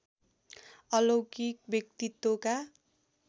अलौकिक व्यक्तित्वका